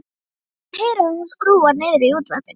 Hann heyrir að hún skrúfar niður í útvarpinu.